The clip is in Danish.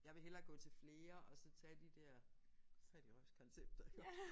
Jeg vil hellere gå til flere og så tage de der fattigrøvskoncepter